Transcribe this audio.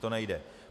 To nejde.